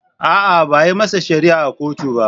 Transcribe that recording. A'a, ba a yi masa shari'a a kotu ba.